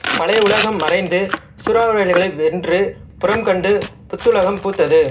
பழைய உலகம் மறைந்து சூறாவளிகளை வென்று புறம் கண்டு புத்துலகம் பூத்தது